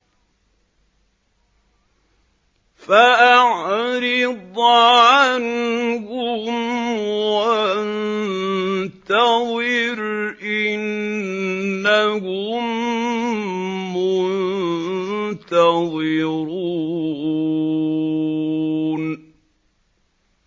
فَأَعْرِضْ عَنْهُمْ وَانتَظِرْ إِنَّهُم مُّنتَظِرُونَ